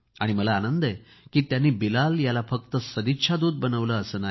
मला आनंद आहे की त्यांनी बिलाल याला फक्त सदिच्छा दूत बनवले असे नाही